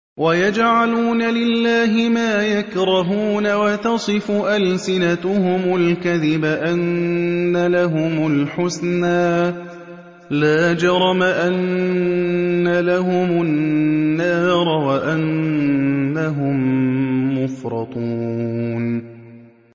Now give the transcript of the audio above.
وَيَجْعَلُونَ لِلَّهِ مَا يَكْرَهُونَ وَتَصِفُ أَلْسِنَتُهُمُ الْكَذِبَ أَنَّ لَهُمُ الْحُسْنَىٰ ۖ لَا جَرَمَ أَنَّ لَهُمُ النَّارَ وَأَنَّهُم مُّفْرَطُونَ